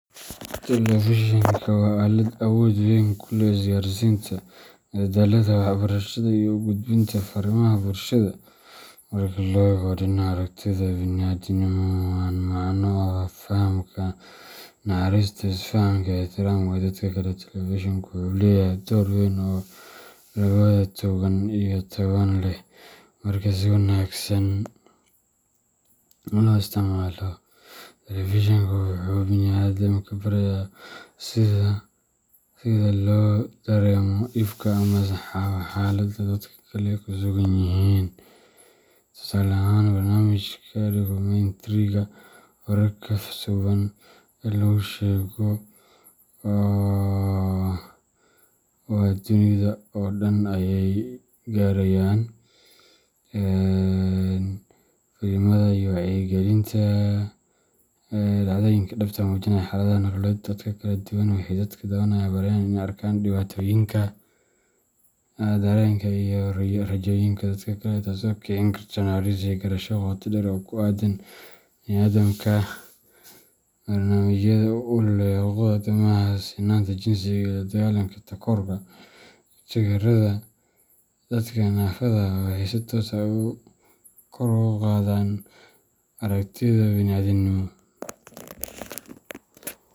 Telefishanka waa aalad awood weyn ku leh isgaarsiinta, madadaalada, waxbarashada, iyo u gudbinta fariimaha bulshada. Marka la eego dhinaca aragtida bini’aadantinimo oo la macno ah fahamka, naxariista, isfahanka, iyo ixtiraamka dadka kale telefishanku wuxuu leeyahay doorku weyn oo labadaba togan iyo taban leh. Marka si wanaagsan loo isticmaalo, telefishanka wuxuu bini’aadamka barayaa sida loo dareemo dhibka ama xaaladda dadka kale ku sugan yihiin. Tusaale ahaan, barnaamijyada dukumentariga, wararka, filimada wacyigelinta ah, iyo dhacdooyinka dhabta ah ee muujinaya xaaladaha nololeed ee dadka kala duwan waxay dadka daawanaya barayaan in ay arkaan dhibaatooyinka, dareenka, iyo rajooyinka dadka kale, taasoo kicin karta naxariis iyo garasho qoto dheer oo ku aaddan bani’aadamka. Barnaamijyada u ololeeya xuquuqda aadanaha, sinaanta jinsiga, la dagaalanka takoorka, iyo taageerada dadka naafada ah waxay si toos ah kor ugu qaadaan aragtida bini’aadantinimo.